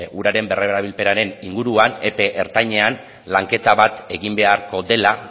uraren berrerabilpenaren inguruan epe ertainean lanketa bat egin beharko dela